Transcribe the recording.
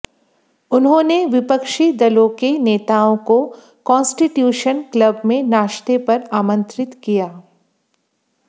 उन्होंने विपक्षी दलों के नेताओं को कांस्टीट्यूशन क्लब में नाश्ते पर आमंत्रित किया